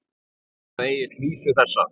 Þá kvað Egill vísu þessa: